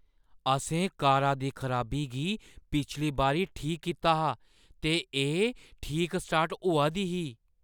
असें कारा दी खराबी गी पिछली बारी ठीक कीता हा ते एह् ठीक स्टार्ट होआ दी ही।